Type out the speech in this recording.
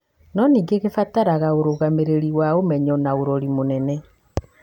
no ningĩ gĩbataraga ũrũgamĩrĩri wa ũmenyo na ũrori mũnene.